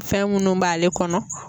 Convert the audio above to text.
Fɛn minnu b'ale kɔnɔ